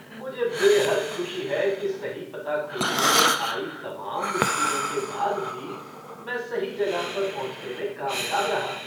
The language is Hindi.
मुझे बेहद खुशी है कि सही पता खोजने में आई तमाम मुश्किलों के बाद भी, मैं सही जगह पर पहुंचने में कामयाब रहा।